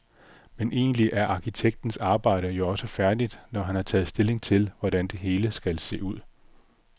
Men egentlig er arkitektens arbejde jo også færdigt, når han har taget stilling til, hvordan det hele skal se ud.